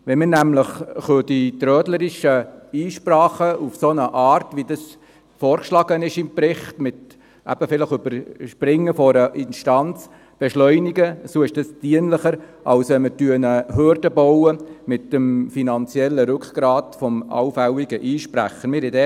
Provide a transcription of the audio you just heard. Wenn wir die trölerischen Einsprachen in der Art – wie dies im Bericht vorgeschlagen wird, wie zum Beispiel mit Überspringen einer Instanz – beschleunigen, so ist dies dienlicher, als wenn wir mit dem finanziellen Rückgrat eines allfälligen Einsprechers eine Hürde bauen.